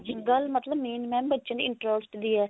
ਗੱਲ mam main ਮਤਲਬ ਬੱਚਿਆਂ ਦੇ interest ਦੀ ਹੈ